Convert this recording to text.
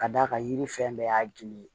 Ka d'a kan yiri fɛn bɛɛ y'a gili ye